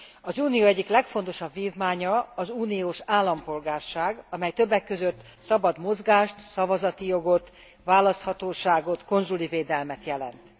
Az Unió egyik legfontosabb vívmánya az uniós állampolgárság, amely többek között szabad mozgást, szavazati jogot, választhatóságot, konzuli védelmet jelent.